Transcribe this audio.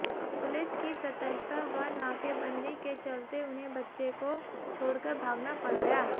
police की सतर्कता व नाकेबंदी के चलते उन्हें बच्चे को छोड़कर भागना पड़ गया